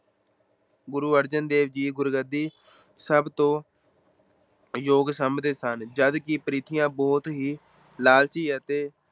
ਗੁਰੂ ਅਰਜਨ ਦੇਵ ਜੀ ਗੁਰਗੱਦੀ ਸਭ ਤੋਂ ਯੋਗ ਸਮਝਦੇ ਸਨ, ਜਦਕਿ ਪਿਰਥੀਆ ਬਹੁਤ ਹੀ ਲਾਲਚੀ ਅਤੇ